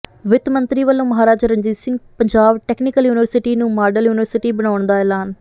ਵਿੱਤ ਮੰਤਰੀ ਵਲੋਂ ਮਹਾਰਾਜਾ ਰਣਜੀਤ ਸਿੰਘ ਪੰਜਾਬ ਟੈਕਨੀਕਲ ਯੂਨੀਵਰਸਿਟੀ ਨੂੰ ਮਾਡਲ ਯੂਨੀਵਰਸਿਟੀ ਬਣਾਉਣ ਦਾ ਐਲਾਨ